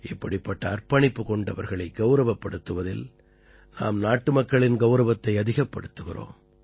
இப்படிப்பட்ட அர்ப்பணிப்பு கொண்டவர்களை கௌரவப்படுத்துவதில் நாம் நாட்டுமக்களின் கௌரவத்தை அதிகப்படுத்துகிறோம்